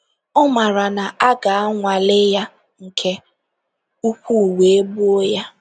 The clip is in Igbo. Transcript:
Ọ maara na a ga-anwale ya nke ukwuu wee gbuo ya.